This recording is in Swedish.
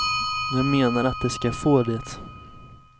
Jag menar att de ska få det.